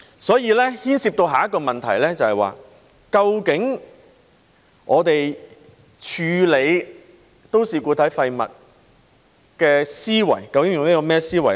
所以，這牽涉的下一個問題是，在處理都市固體廢物方面，究竟我們是用甚麼思維呢？